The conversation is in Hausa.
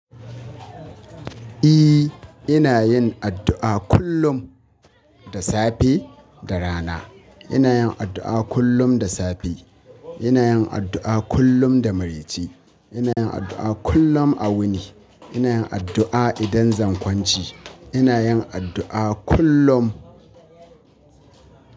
E, ina yin addu'a kullum da safe da rana. Ina yin addu'a kullum da safe. Ina yin addu'a kullum da mareci. Ina yin addu'a kullum a wuni. Ina yin addu'a idan zan kwanci. Ina yin addu'a kullum.